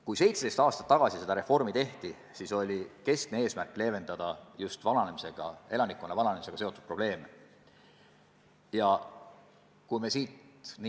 Kui 17 aastat tagasi seda reformi tehti, siis oli keskne eesmärk leevendada just elanikkonna vananemisega seotud probleeme.